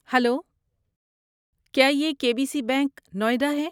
Hello, کیا یہ K B C bank, Noida ہے؟